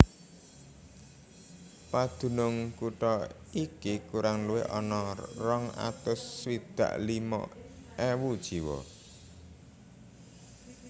Padunung kutha iki kurang luwih ana rong atus swidak limo ewu jiwa